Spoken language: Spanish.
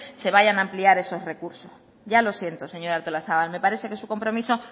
se vayan a ampliar esos recursos ya lo siento señora artolazabal me parece que su compromiso